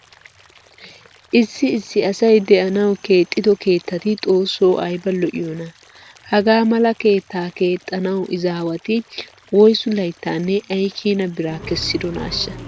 Issi issi asay de'anawu keexxido keettati xoossoo ayba lo''iyonaa! Hagaa mala keettaa keexxanawu izaawati woysu layttaanne ay keena biraa kessidonaashsha?